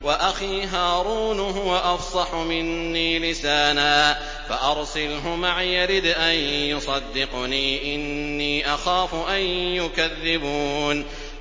وَأَخِي هَارُونُ هُوَ أَفْصَحُ مِنِّي لِسَانًا فَأَرْسِلْهُ مَعِيَ رِدْءًا يُصَدِّقُنِي ۖ إِنِّي أَخَافُ أَن يُكَذِّبُونِ